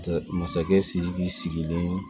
Masakɛ sidiki sigilen